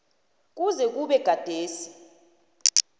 kuze kube gadesi